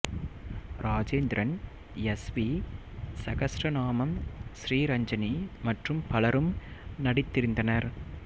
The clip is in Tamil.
ராஜேந்திரன் எஸ் வி சகஸ்ரநாமம் ஸ்ரீரஞ்சனி மற்றும் பலரும் நடித்திருந்தனர்